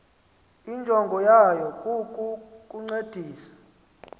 injongo yayo kukukuncedisa